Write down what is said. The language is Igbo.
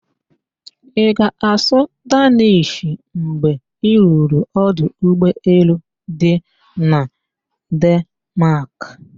Ị ga-asụ Daanish mgbe i ruru ọdụ ụgbọelu dị na Denmaak?